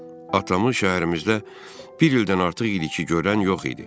Atamı şəhərimizdə bir ildən artıq idi ki, görən yox idi.